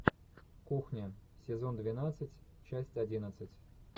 кухня сезон двенадцать часть одиннадцать